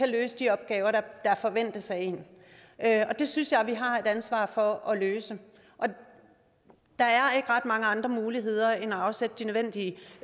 løse de opgaver der forventes af en det synes jeg vi har ansvaret for at løse der er ikke ret mange andre muligheder end at afsætte de nødvendige